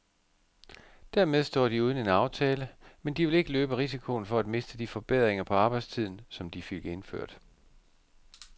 Dermed står de uden en aftale, men de vil ikke løbe risikoen for at miste de forbedringer på arbejdstiden, som de fik indført.